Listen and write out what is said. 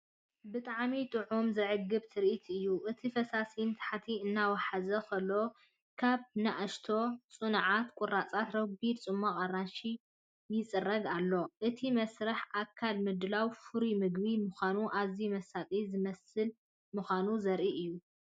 ብጣዕሚ ጥዑምን ዘዕግብን ትርኢት እዩ! እቲ ፈሳሲ ንታሕቲ እናወሓዘ ከሎ ካብ ንኣሽቱ ጽኑዓት ቁራጽ ረጒድ ጽማቝ ኣራንሺ ይጽረግ ኣሎ። እቲ መስርሕ ኣካል ምድላው ፍሩይ መግቢ ምዃኑን ኣዝዩ መሳጢ ዝመስልን ምዃኑ ዘርኢ እዩ።